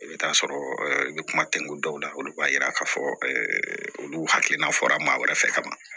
I bɛ t'a sɔrɔ i bɛ kuma tɛŋun dɔw la olu b'a yira k'a fɔ olu hakilina fɔra maa wɛrɛ fɛ ka ban